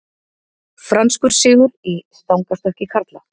Franskur sigur í stangarstökki karla